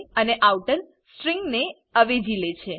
અને outer string ને અવેજી લે છે